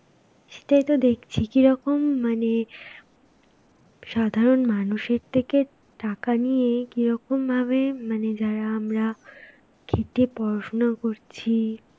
সেটাই তো দেখছি. কিরকম মানে সাধারণ মানুষের থেকে টাকা নিয়ে, কিরকম ভাবে মানে যারা আমরা খেটে পড়াশোনা করছি,